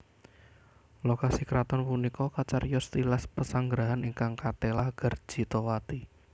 Lokasi kraton punika kacariyos tilas pesanggarahan ingkang katelah Garjitawati